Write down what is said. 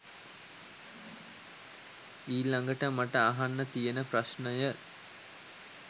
ඊලඟට මට අහන්න තියෙන ප්‍රශ්ණය